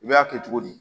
I b'a kɛ cogo di